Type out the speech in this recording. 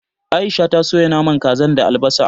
Aisha ta soya naman kazan da albasa